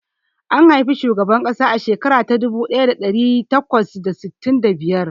An haifi shugaban ƙasa a shekara ta dubu daya da dari takwas da sittin da biyar.